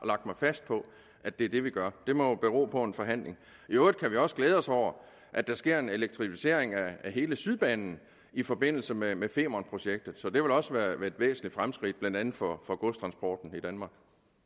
lagt mig fast på at det er det vi gør det må bero på en forhandling i øvrigt kan vi også glæde os over at der sker en elektricificering af hele sydbanen i forbindelse med med femernprojektet det vil også være et væsentligt fremskridt blandt andet for for godstransporten i danmark